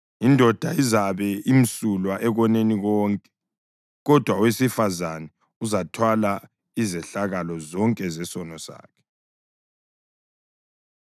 Indoda izabe imsulwa ekoneni konke, kodwa owesifazane uzathwala izehlakalo zonke zesono sakhe.’ ”